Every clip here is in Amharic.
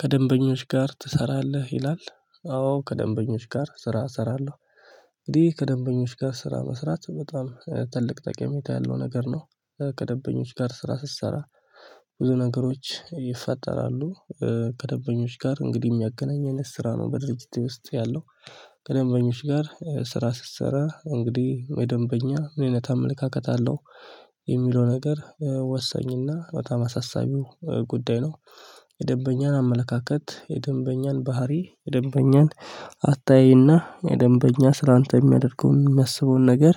ከደንበኞች ጋር ትሰራለህ ይላል? አዎ ከደንበኞች ጋር ስራ እሰራለሁ። እንግዲህ ከደንበኞች ጋር ስራ መስራት በጣም ትልቅ ጠቀሜታ ያለው ነገር ነው። ከደንበኞች ጋር ስራ ስሰራ ብዙ ነገሮች ይፈጠራሉ። ከደበኞች ጋር እንግዲህ እሚያገናኘን ስራ ነው በድርጅቴ ውስጥ ያለው። ከደንበኞች ጋር ስራ ስትሰራ እንግዲህ የደንበኛ ምን አይነት አመለካከት አለው? የሚለው ነገር ወሰኝና በጣም አሳሳቢው ጉዳይ ነው። የደንበኛን አመለካከት የደንበኛን ባህሪ የደንበኛን አታያይና የደንበኛ ስላንተ የሚያደርገውን እሚያስበውን ነገር።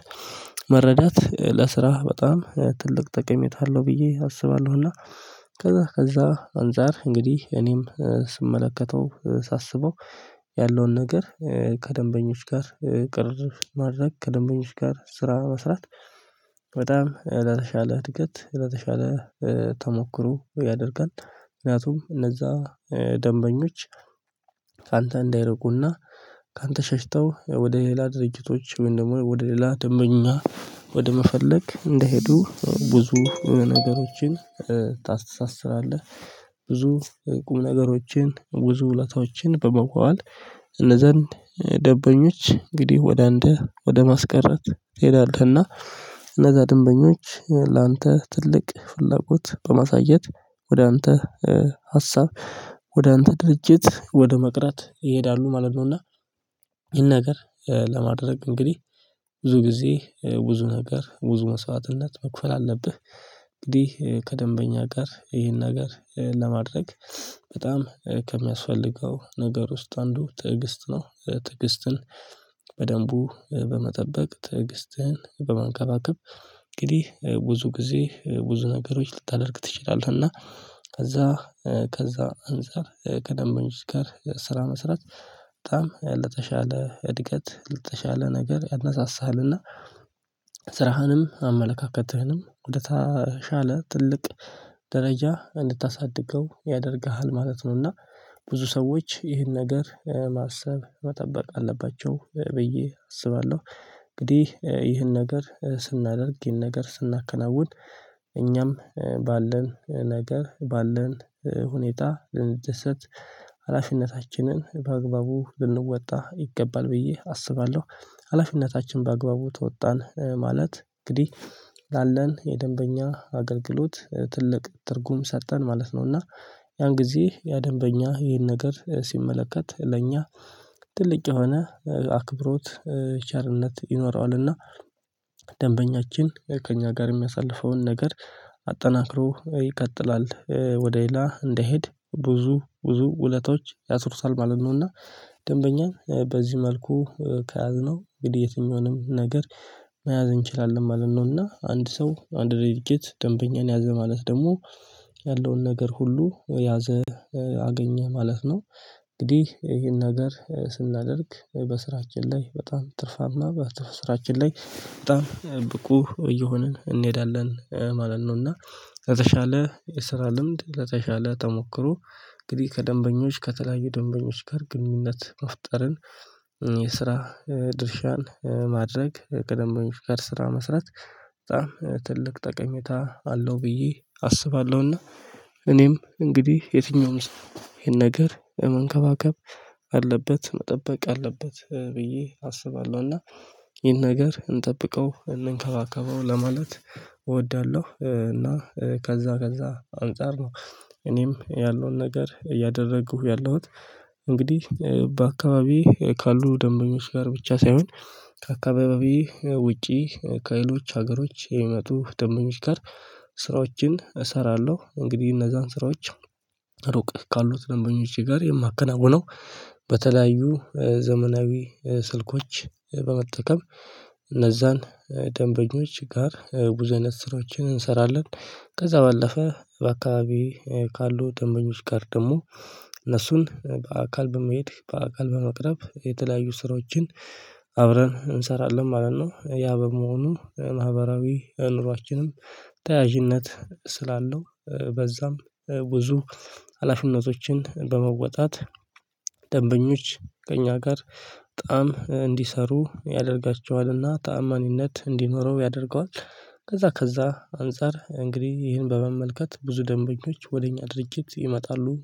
መረዳት ለስራህ በጣም ትልቅ ጠቀሜታ አለው ብዬ አስባለሁና። ከዛ ከዛ አንፃር እንግዲህ እኔም ስመለከተው ሳስበው ያለውን ነገር ከደንበኞች ጋር ቅርርብ ማድረግ ከደንበኞች ጋር ስራ መስራት። በጣም ለተሻለ እድገት ለተሻለ ተሞክሮ ያደርጋል። ምክንያቱም እነዛ ደንበኞች ካንተ እንዳይርቁና ካንተ ሸሽተው ወደ ሌላ ድርጅቶች ወይም ደግሞ ወደ ሌላ ደንበኛ ወደ መፈለግ እንደሄዱ ብዙ ነገሮችን ታስታስራለህ። ብዙ ቁም ነገሮችን ብዙ ውለታዎችን በመዋዋል እነዛን ደንበኞች እንግዲህ ወደ አንተ ወደ ማስቀረት ትሄዳለህና። እነዛ ደንበኞች ላንተ ትልቅ ፍላጎት በማሳየት ወደ አንተ ሀሳብ ወደ አንተ ድርጅት ወደ መቅረት ይሄዳሉ ማለት ነውና። ይህን ነገር ለማድረግ እንግዲህ ብዙ ጊዜ ብዙ ነገር ብዙ መስዋዕትነት መክፈል አለብህ። እንግዲህ ከደንበኛ ጋር ይሄን ነገር ለማድረግ በጣም ከሚያስፈልገው ነገር ውስጥ አንዱ ትዕግስት ነው። ትዕግስትን በደንቡ በመጠበቅ ትዕግስትን በመንከባከብ እንግዲህ ብዙ ጊዜ ብዙ ነገሮች ልታደርግ ትችላለህ እና። ከዛ ከዛ አንፃር ከደንበኞች ጋር ስራ መስራት በጣም ለተሻለ እድገት ለተሻለ ነገር ያነሳሳሃልና። ስራህንም አመለካከትህንም ወደታሻለ ትልቅ ደረጃ እንድታሳድገው ያደርግሃል ማለት ነውና ብዙ ሰዎች ይህን ነገር ማሰብ መጠበቅ አለባቸው ብዬ አስባለሁ። እንግዲህ ይህን ነገር ስናደርግ ይህን ነገር ስናከናውን እኛም ባለን ነገር ባለን ሁኔታ ልንደሰት ሀላፊነታችንን በአግባቡ ልንወጣ ይገባል ብዬ አስባለሁ። ሀላፊነታችን በአግባቡ ተወጣን ማለት እንግዲህ ላለን የደንበኛ አገልግሎት ትልቅ ትርጉም ሰጠን ማለት ነው። እና ያን ጊዜ ያ ደንበኛ ይሄን ነገር ሲመለከት ለእኛ ትልቅ የሆነ አክብሮት ቸርነት ይኖረዋልና። ደንበኛችን ከእኛ ጋር እሚያሳልፈውን ነገር አጠናክሮ ይቀጥላል ወደ ሌላ እንዳይሄድ ብዙ ብዙ ውለታዎች ያስሩታል ማለት ነውና። ደንበኛ በዚህ መልኩ ከያዝነው እንግዲህ የትኛውንም ነገር መያዝ እንችላለን ማለት ነው። እና አንድ ሰው አንድ ድርጊት ደንበኛን ያዘ ማለት ደግሞ ያለውን ነገር ሁሉ ያዘ አገኘ ማለት ነው። እንግዲህ ይሄን ነገር ስናደርግ በስራችን ላይ በጣም ትርፋማ በስራችን ላይ በጣም ብቁ እየሆንን እንሄዳለን ማለት ነው። እና ለሻለ ስራ ልምድ ለዛሻለ ተሞክሮ። እንግዲህ ከደንበኞች ከተለያዩ ደንበኞች ጋር ግንኙነት መፍጠርን የስራ ድርሻን ማድረግ ደንበኞች ጋር ስራ መስራት በጣም ትልቅ ጠቀሜታ አለው ብዬ አስባለሁና። እኔም እንግዲህ የትኛውም ሰው ይሄን ነገር መንከባከብ አለበት መጠበቅ አለበት ብዬ አስባለሁ። እና ይሄን ነገር እንጠብቀው እንንከባከበው ለማለት እወዳለሁ እና ከዛ ከዛ አንፃር ነው እኔም ያለውን ነገር እያደረጉ ያለሁት። እንግዲህ በአካባቢዬ ካሉ ደንበኞች ጋር ብቻ ሳይሆን። ከአካባቢዬ ውጪ ከሌሎች ሀገሮች የሚመጡ ደንበኞች ጋር። ስራዎችን እሰራለሁ እንግዲህ እነዛን ስራዎች ሩቅ ካሉት ደንበኞቼ ጋር የማከናውነው በተለያዩ ዘመናዊ ስልኮች በመጠቀም እነዛን ደንበኞች ጋር በዙ አይነት ስራዎችን እንሰራለን። ከዛ ባለፈ በአካባቢ ካሉ ደንበኞች ጋር ደግሞ እነሱን በአካል በመሄድ በአካል በመቅረብ የተለያዩ ስራዎችን አብረን እንሰራለን ማለት ነው። ያ በመሆኑ ማህበራዊ ኑሯችንም ተያዥነት ስላለው በዛ ብዙ ሀላፊነቶችን በመወጣት ደንበኞች ከእኛ ጋር በጣም እንዲሰሩ ያደርጋቸዋልና ታማኝነት እንዲኖረው ያደርገዋል። ከዛ ከዛ አንፃር እንግዲህ ይህን በመመልከት ብዙ ደንበኞች ወደ እኛ ድርጅት ይመጣሉ